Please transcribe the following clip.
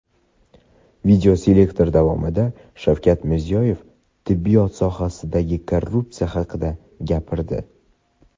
Videoselektor davomida Shavkat Mirziyoyev tibbiyot sohasidagi korrupsiya haqida gapirdi.